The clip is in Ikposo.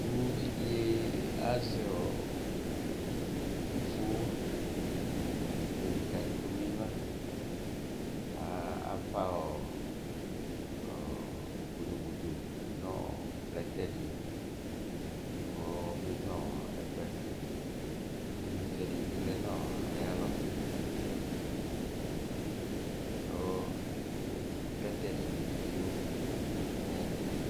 Uvi dɩ azɛ ivifʋ nʋ ɩdɩkadɩ kɔmenyuǝ A afa ɔɔ ɔɔ bodobodo dʋ nʋ plɛtɛ dɩ kʋ ɔmenyuǝ ɔɔ ɛkʋ yɛ Ɩvlɩtsɛ dɩ bɩ lɛ nʋ ayalɔ Kʋ plɛtɛ ebene bɩ dʋ ayɛtʋ